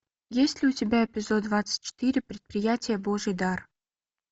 есть ли у тебя эпизод двадцать четыре предприятие божий дар